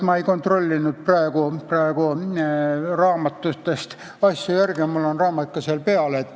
Ma ei kontrollinud praegu raamatutest asju üle.